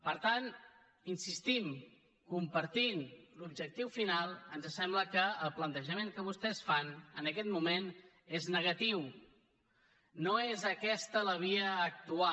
per tant hi insistim compartint l’objectiu final ens sembla que el plantejament que vostès fan en aquest moment és negatiu no és aquesta la via a actuar